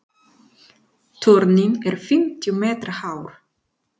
Turninn er fimmtíu metra hár.